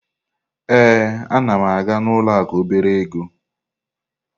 Ee, a na m aga ụlọ akụ obere ego.